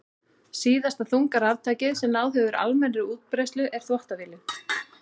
Síðasta þunga raftækið sem náð hefur almennri útbreiðslu er uppþvottavélin.